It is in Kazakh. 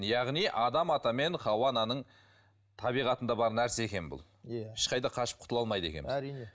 яғни адам ата мен хауа ананың табиғатында бар нәрсе екен бұл иә ешқайда қашып құтыла алмайды екенбіз әрине